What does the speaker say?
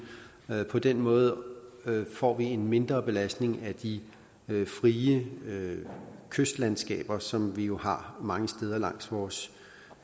på den måde får vi en mindre belastning af de frie kystlandskaber som vi jo har mange steder langs vores